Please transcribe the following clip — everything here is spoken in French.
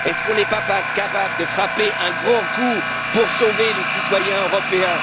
Ne sommes nous pas capables de frapper un grand coup pour sauver les citoyens européens?